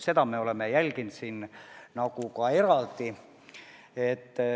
Seda me oleme eraldi jälginud.